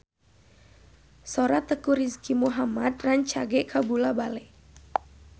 Sora Teuku Rizky Muhammad rancage kabula-bale